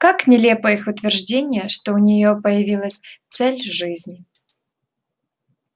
как нелепо их утверждение что у неё появилась цель жизни